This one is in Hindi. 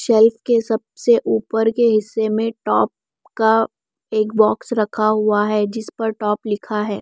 शेल्फ के सबसे ऊपर के हिस्से में टॉप का एक बॉक्स रखा हुआ है जिस पर टॉप लिखा है।